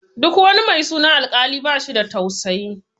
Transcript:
Duk wani mai sunan Alkali bashi da tausayi.